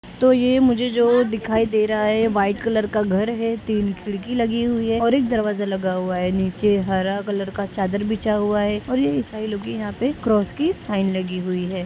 तो ये मुझे जो दिखाई दे रहा है व्हाइट कलर का घर है। तीन खिड़की लगी हुई है और एक दरवाजा लगा हुआ है । नीचे हरा कलर का चाद्दर बिछा हुआ है और ये इसाई लोगो का क्हाँ पे क्रॉस की साइन लगी हुई है ।